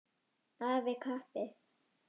Af kappi.